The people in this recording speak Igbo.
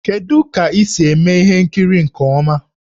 Kedu ka esi eme ihe nkiri nke ọma?